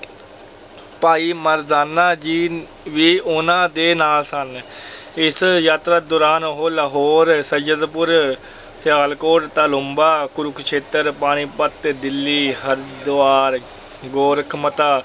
ਭਾਈ ਮਰਦਾਨਾ ਜੀ ਵੀ ਉਹਨਾਂ ਦੇ ਨਾਲ ਸਨ, ਇਸ ਯਾਤਰਾ ਦੌਰਾਨ ਉਹ ਲਾਹੌਰ, ਸੱਯਦਪੁਰ, ਸਿਆਲਕੋਟ, ਤਾਲੂੰਬਾ, ਕੁਰੂਕਸ਼ੇਤਰ, ਪਾਣੀਪਤ, ਦਿੱਲੀ, ਹਰਿਦੁਆਰ, ਗੋਰਖਮਤਾ